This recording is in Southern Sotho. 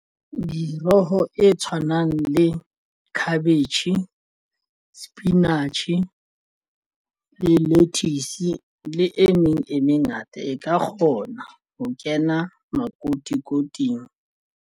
Moroho e tshwanang le cabbage sepinatjhe lettuce le e meng e mengata e ka kgona ho kena makotikoting.